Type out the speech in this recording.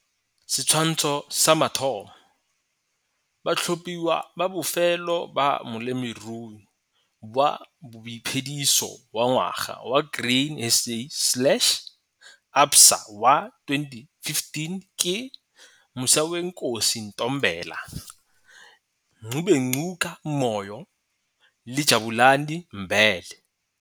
Setshwantsho sa 1 - Batlhophiwa ba bofelo ba Molemirui wa Boiphediso wa Ngwaga wa Grain SA slash ABSA wa 2015 ke - Musawenkosi Ntombela, Ngubengcuka Moyo le Jabulani Mbele.